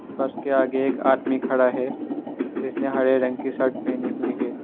बस के आगे एक आदमी खड़ा है जिसने हरे रंग की शर्ट पहनी हुई है।